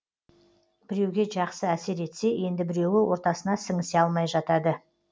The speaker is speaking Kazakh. біреуге жақсы әсер етсе енді біреуі ортасына сіңісе алмай жатады